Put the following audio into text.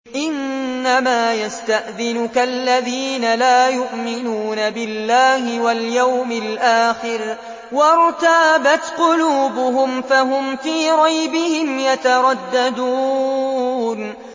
إِنَّمَا يَسْتَأْذِنُكَ الَّذِينَ لَا يُؤْمِنُونَ بِاللَّهِ وَالْيَوْمِ الْآخِرِ وَارْتَابَتْ قُلُوبُهُمْ فَهُمْ فِي رَيْبِهِمْ يَتَرَدَّدُونَ